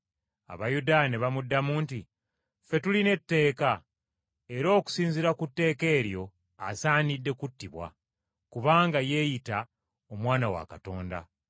Abayudaaya ne bamuddamu nti, “Ffe tulina etteeka, era okusinziira ku tteeka eryo asaanidde kuttibwa, kubanga yeeyita Omwana wa Katonda.”